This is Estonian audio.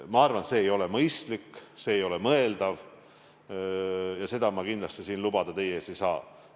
Ma arvan, et see ei ole mõistlik, see ei ole mõeldav ja seda ma kindlasti siin teie ees lubada ei saa.